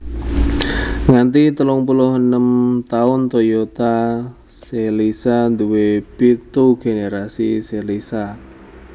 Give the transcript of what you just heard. Nganti 36 taun Toyota Celica nduwé pitu generasi Celica